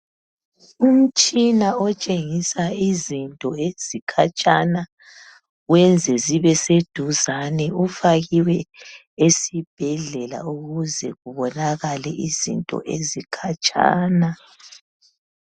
Umtshina otshengisa izinto ezikhatshana wenze zibe seduzane ufakiwe esibhedlela ukuze kubonakale izinto ezikhatshana.